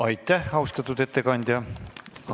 Aitäh, austatud ettekandja!